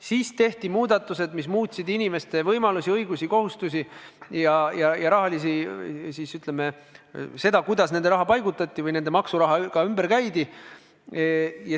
Siis tehti muudatused, mis muutsid inimeste võimalusi, õigusi, rahalisi kohustusi, seda, kuidas nende raha paigutati või nende maksurahaga ümber käidi.